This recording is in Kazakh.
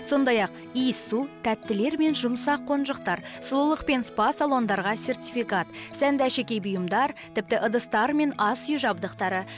сондай ақ иіссу тәттілер мен жұмсақ қонжықтар сұлулық пен спа салондарға сертификат сәнді әшекей бұйымдар тіпті ыдыстар мен ас үй жабдықтары